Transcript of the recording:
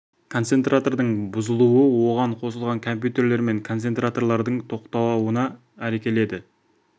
концентратордың бұзылуы оған қосылған компьютерлер мен концентраторлардың тоқтауына әкеледі